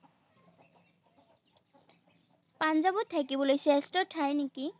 পাঞ্জাৱত থাকিবলৈ শ্ৰেষ্ঠ ঠাইনো কি?